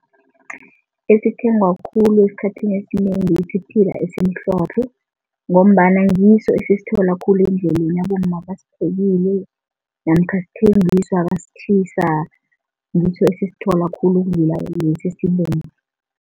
Esithengwa khulu esikhathini esinengi siphila esimhlophe ngombana ngiso esisithola khulu endleleni, abomma basiphekile namkha sithengiswa basitjhisa. Ngiso esisithola khulu ukudlula lesi esibomvu.